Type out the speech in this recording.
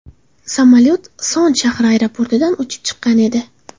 Samolyot Son shahri aeroportidan uchib chiqqan edi.